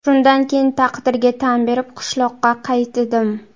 Shundan keyin taqdirga tan berib, qishloqqa qaytdim.